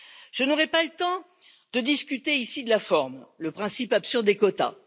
Je n'aurai pas le temps de discuter ici de la forme le principe absurde des quotas.